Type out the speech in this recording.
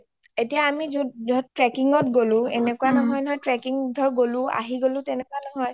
এতিয়া আমি trekking ত গ’লো এনেকুৱা নহয় নহয় গ’লো আহি গ’লো তেনেকুৱা নহয়